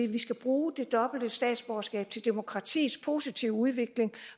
vi skal bruge det dobbelte statsborgerskab til demokratiets positive udvikling